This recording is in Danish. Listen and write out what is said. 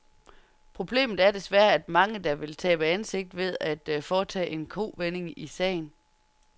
Problemet er desværre, at der er mange, der vil tabe ansigt ved at foretage en kovending i sagen.